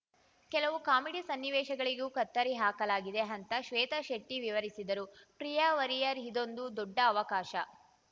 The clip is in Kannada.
ಕೆಲವು ಕಾಮಿಡಿ ಸನ್ನಿವೇಶಗಳಿಗೂ ಕತ್ತರಿ ಹಾಕಲಾಗಿದೆ ಅಂತ ಶ್ವೇತಾ ಶೆಟ್ಟಿವಿವರಿಸಿದರು ಪ್ರಿಯಾ ವಾರಿಯರ್‌ ಇದೊಂದು ದೊಡ್ಡ ಅವಕಾಶ